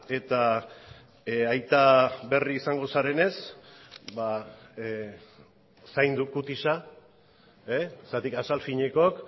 eta aita berri izango zarenez ba zaindu kutisa zergatik azal finekook